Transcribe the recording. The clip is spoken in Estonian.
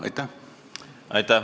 Aitäh!